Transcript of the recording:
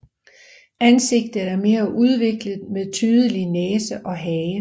Ansigtet er mere udviklet med tydelig næse og hage